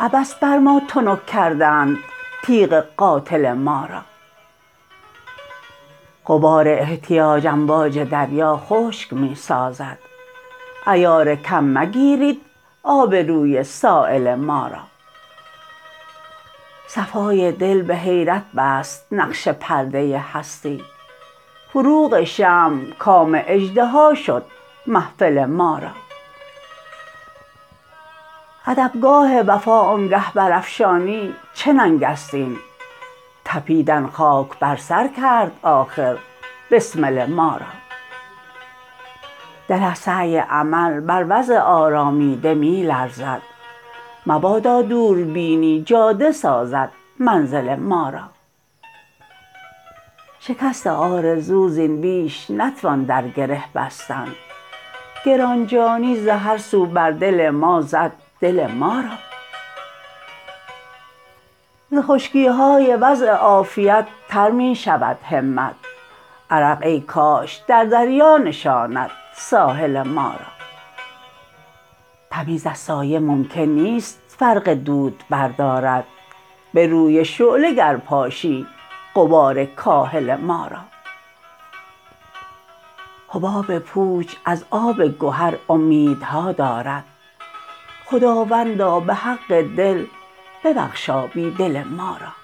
عبث بر ما تنک کردند تیغ قاتل ما را غبار احتیاج امواج دریا خشک می سازد عیار کم مگیرید آبروی سایل ما را صفای دل به حیرت بست نقش پرده هستی فروغ شمع کام اژدها شد محفل ما را ادبگاه وفا آنگه پرافشانی چه ننگ است این تپیدن خاک بر سر کرد آخر بسمل ما را دل از سعی امل بر وضع آرامیده می لرزد مبادا دوربینی جاده سازد منزل ما را شکست آرزو زین بیش نتوان در گره بستن گران جانی ز هر سو بر دل ما زد دل ما را ز خشکی های وضع عافیت تر می شود همت عرق ای کاش در دریا نشاند ساحل ما را تمیز از سایه ممکن نیست فرق دود بردارد به روی شعله گر پاشی غبار کاهل ما را حباب پوچ از آب گهر امیدها دارد خداوندا به حق دل ببخشا بیدل ما را